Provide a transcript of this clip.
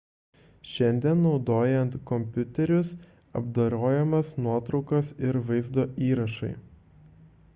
šiandien naudojant kompiuterius apdorojamos nuotraukos ir vaizdo įrašai